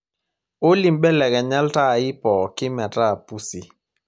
olly mbelekanya iltaai pooki metaa pusi